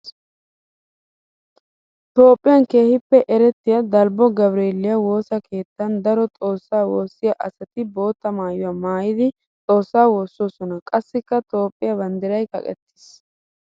Toophphiyan keehippe erettiya dalbbo gabreeliya woosa keettan daro xoosa woosiya asatti bootta maayuwa maayiddi xoosa woososonna. Qassikka Toophphiya banddiray kaqqettis.